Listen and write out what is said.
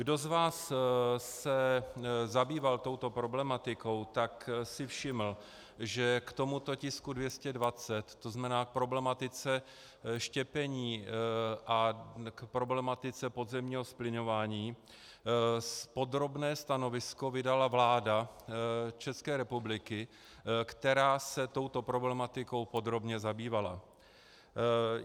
Kdo z vás se zabýval touto problematikou, tak si všiml, že k tomuto tisku 220, to znamená k problematice štěpení a k problematice podzemního zplyňování, podrobné stanovisko vydala vláda České republiky, která se touto problematikou podrobně zabývala.